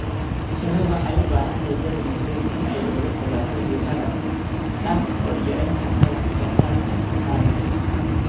Shinnidu waxay u baahan tahay jawi nabdoon si ay uga fogaato diiqada, taas oo yarayn karta wax soo saarka malabka.